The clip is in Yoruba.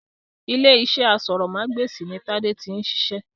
Ilé-iṣẹ́ aṣórómagbesìn ni tade tí ń ṣiṣẹ́